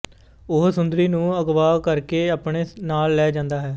ਉਹ ਸੁੰਦਰੀ ਨੂੰ ਅਗਵਾ ਕਰ ਕੇ ਆਪਣੇ ਨਾਲ ਲੈ ਜਾਂਦਾ ਹੈ